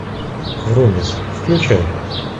врумиз включай